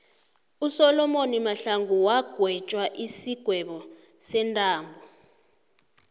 usolomoni mahlangu wagwetjwa isigwebo sentambo